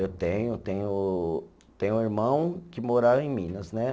Eu tenho, tenho, tenho um irmão que mora em Minas, né?